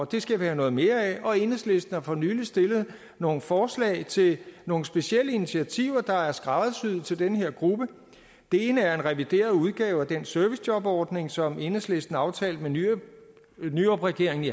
det skal vi have noget mere af og enhedslisten har for nylig stillet nogle forslag til nogle specielle initiativer der er skræddersyet til den her gruppe det ene er en revideret udgave af den servicejobordning som enhedslisten aftalte med nyrupregeringen i